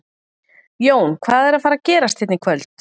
Jón, hvað er að fara að gerast hérna í kvöld?